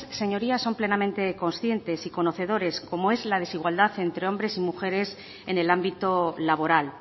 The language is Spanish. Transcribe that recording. señoría son plenamente conscientes y conocedores como es la desigualdad entre hombres y mujeres en el ámbito laboral